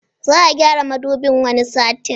Za'a gyara Madubin wani satin